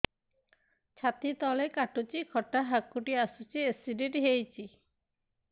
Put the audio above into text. ଛାତି ତଳେ କାଟୁଚି ଖଟା ହାକୁଟି ଆସୁଚି ଏସିଡିଟି ହେଇଚି